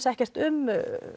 ekkert um